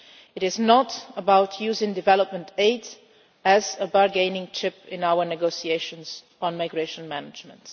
It is not about using development aid as a bargaining chip in our negotiations on migration management.